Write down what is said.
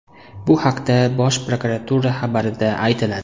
Bu haqda Bosh prokuratura xabarida aytiladi .